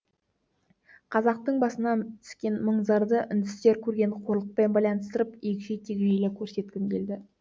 қазақтың басына түскен мұң зарды үндістер көрген қорлықпен байланыстырып егжей тегжейлі көрсеткім келді